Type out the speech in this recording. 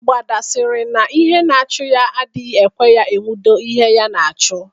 Mgbada sịrị na ihe na-achụ́ ya adịghị ekwe ya enwude ihe ya na-achụ.